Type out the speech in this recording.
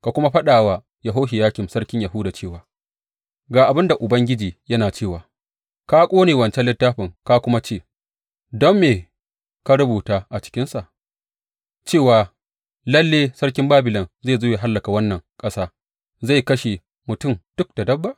Ka kuma faɗa wa Yehohiyakim sarkin Yahuda cewa, Ga abin da Ubangiji yana cewa, ka ƙone wancan littafin ka kuma ce, Don me ka rubuta a cikinsa, cewa lalle sarkin Babilon zai zo ya hallaka wannan ƙasa, zai kashe mutum duk da dabba?